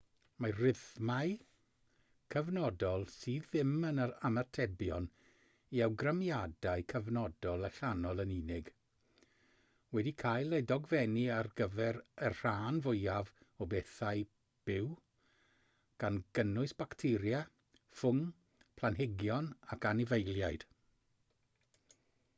mae rhythmau cyfnodol sydd ddim yn ymatebion i awgrymiadau cyfnodol allanol yn unig wedi cael eu dogfennu ar gyfer y rhan fwyaf o bethau byw gan gynnwys bacteria ffwng planhigion ac anifeiliaid